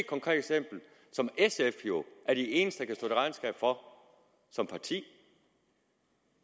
konkret eksempel som sf jo er de eneste kan til regnskab for som parti